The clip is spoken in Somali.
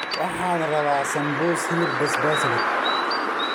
Waxaan rabaa sambusa hilib basbaas leh